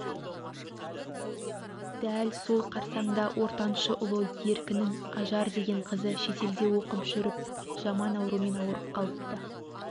дәл сол қарсаңда ортаншы ұлы еркінің ажар деген қызы шетелде оқып жүріп жаман аурмен ауырып қалыпты